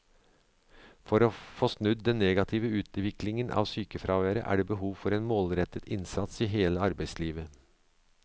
For å få snudd den negative utviklingen av sykefraværet er det behov for en målrettet innsats i hele arbeidslivet.